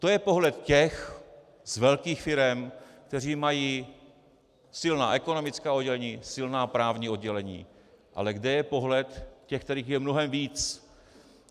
To je pohled těch z velkých firem, kteří mají silná ekonomická oddělení, silná právní oddělení, ale kde je pohled těch, kterých je mnohem víc?